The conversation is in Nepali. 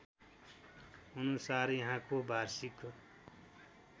अनुसार यहाँको वार्षिक